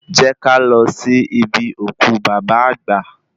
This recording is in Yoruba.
Jẹ́ ká lọ sí ibi òkú bàbá àgbà